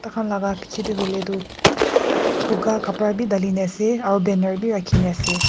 tahan laka bichae tae hoilae tu buka kapra bi dalina ase aro banner birakhina ase.